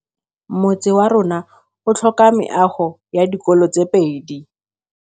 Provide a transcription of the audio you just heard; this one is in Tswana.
Motse warona o tlhoka meago ya dikolô tse pedi.